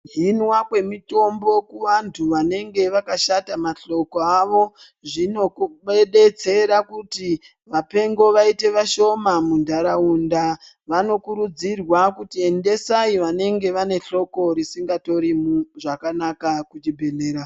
Kuhinwa kwemitombo kuvantu vanenge vakashata mahloko avo, zvinodetsera kuti vapengo vayite vashoma mundaraunda, vanokurudzirwa kuti endesayi vanenge vane hloko risingatori zvakanaka kuchibhedhlera.